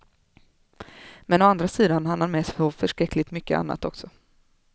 Men å andra sidan hann han med så förskräckligt mycket annat också.